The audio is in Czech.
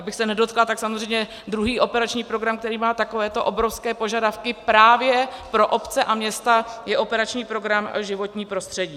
Abych se nedotkla, tak samozřejmě druhý operační program, který má takovéto obrovské požadavky právě pro obce a města, je operační program Životní prostředí.